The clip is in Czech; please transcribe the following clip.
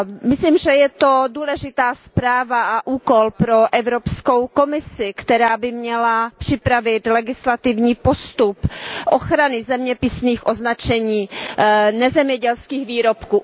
Myslím, že je to důležitá zpráva a úkol pro Evropskou komisi, která by měla připravit legislativní postup ochrany zeměpisných označení nezemědělských výrobků.